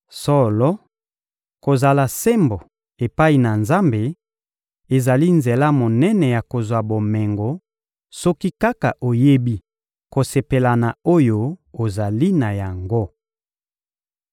Solo, kozala sembo epai na Nzambe ezali nzela monene ya kozwa bomengo soki kaka oyebi kosepela na oyo ozali na yango.